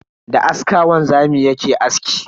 Da aska wanzami yake aski.